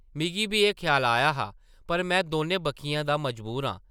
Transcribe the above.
मिगी बी एह् ख्याल आया हा पर में दौनें बक्खियें दा मजबूर आं ।